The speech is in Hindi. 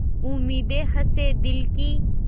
उम्मीदें हसें दिल की